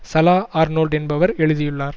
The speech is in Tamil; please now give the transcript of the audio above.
சலோ ஆர்னோல்ட் என்பவர் எழுதியுள்ளார்